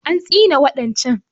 An tsine wa ɗan can